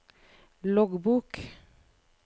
loggbok